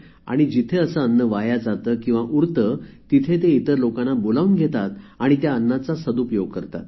जिथे असे अन्न वाया जाते किंवा उरते तिथे ते इतर लोकांना बोलावून घेतात आणि त्या अन्नाचा सदुपयोग करतात